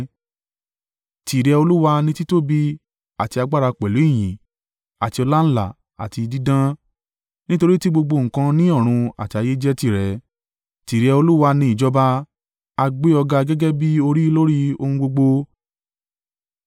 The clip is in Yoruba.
Tìrẹ Olúwa ni títóbi àti agbára pẹ̀lú ìyìn àti ọláńlá àti dídán, nítorí tí gbogbo nǹkan ní ọ̀run àti ayé jẹ́ tìrẹ. Tìrẹ Olúwa ni ìjọba; a gbé ọ ga gẹ́gẹ́ bí orí lórí ohun gbogbo.